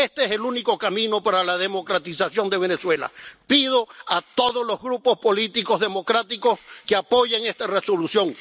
Este es el único camino para la democratización de Venezuela. Pido a todos los grupos políticos democráticos que apoyen esta Resolución.